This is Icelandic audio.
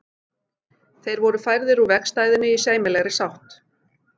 Þeir voru færðir úr vegstæðinu í sæmilegri sátt.